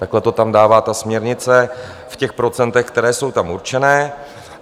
Takhle to tam dává ta směrnice v těch procentech, která jsou tam určená.